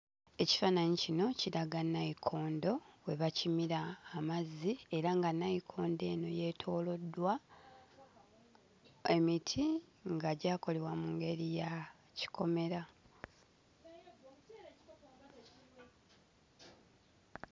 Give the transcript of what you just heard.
Ekifaananyi kino kiraga nayikondo we bakimira amazzi era nga nayikondo eno yeetooloddwa emiti nga gyakolebwa mu ngeri ya kikomera.